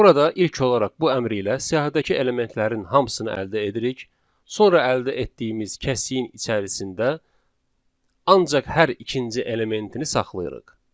Burada ilk olaraq bu əmr ilə siyahıdakı elementlərin hamısını əldə edirik, sonra əldə etdiyimiz kəsiyin içərisində ancaq hər ikinci elementini saxlayırıq.